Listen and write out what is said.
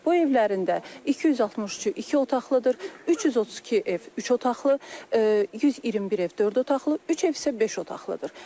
Bu evlərin də 263-ü iki otaqlıdır, 332 ev üç otaqlı, 121 ev dörd otaqlı, üç ev isə beş otaqlıdır.